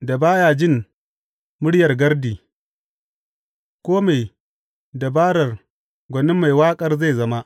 da ba ya jin muryar gardi, kome dabarar gwanin mai waƙar zai zama.